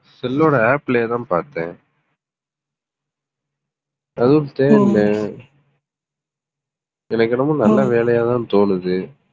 cell ஓட app லயே தான் பார்த்தேன். எனக்கு என்னமோ, நல்ல வேலையாதான் தோணுது.